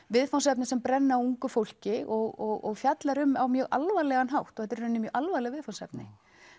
viðfangsefni sem brenna á ungu fólki og fjallar um á mjög alvarlegan hátt og þetta eru í raun mjög alvarleg viðfangsefni